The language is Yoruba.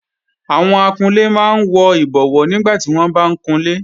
Àwọn akunlé máa ń wọ ìbọwó nígbàtí wọ́n bá ń kunlé